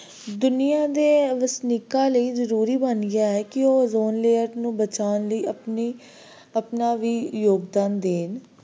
ਦੁਨੀਆਂ ਦੇ ਵਸਨੀਕਾਂ ਲਈ ਜ਼ਰੂਰੀ ਬਣ ਗਿਆ ਹੈ ਕਿ ਉਹ ਨੂੰ ozone layer ਬਚਾਉਣ ਲਈ ਆਪਣੀ ਆਪਣਾ ਵੀ ਯੋਗਦਾਨ ਦੇ